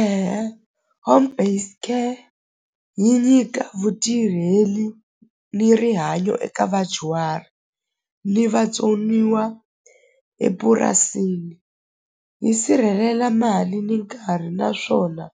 E-e home based care yi nyika vutirheli ni rihanyo eka vadyuhari ni vatsoniwa epurasini yi sirhelela mali ni nkarhi naswona